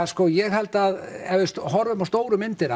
sko ég held að ef við horfum á stóru myndina